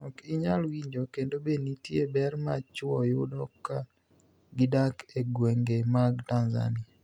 Ok iniyal winijo kenido Be niitie ber ma chwo yudo ka gidak e gwenige mag Tanizaniia?